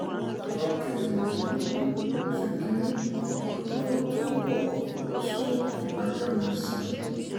ọjọ́ kejìdínlógún oṣù kín-ín-ní ọdún tó ń bọ̀ ló sún ìgbẹ́jọ́ mi-ín sí